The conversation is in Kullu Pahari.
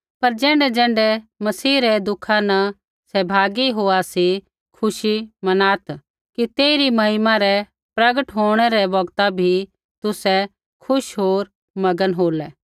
पर ज़ैण्ढैज़ैण्ढै मसीह रै दुखा न सहभागी होआ सी खुशी मनात् कि तेइरी महिमै रै प्रगट होंणै रै बौगता भी तुसै खुश होर मगन हो